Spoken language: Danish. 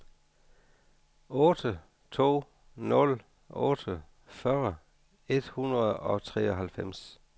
otte to nul otte fyrre et hundrede og treoghalvfems